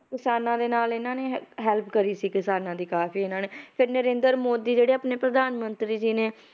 ਕਿਸਾਨਾਂ ਦੇ ਨਾਲ ਇਹਨਾਂ ਨੇ help ਕਰੀ ਸੀ ਕਿਸਾਨਾਂ ਦੀ ਕਾਫ਼ੀ ਇਹਨਾਂ ਨੇ ਫਿਰ ਨਰਿੰਦਰ ਮੋਦੀ ਜਿਹੜੇ ਆਪਣੇ ਪ੍ਰਧਾਨ ਮੰਤਰੀ ਜੀ ਨੇ,